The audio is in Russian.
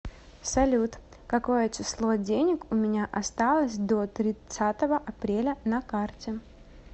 салют какое число денег у меня осталось до тридцатого апреля на карте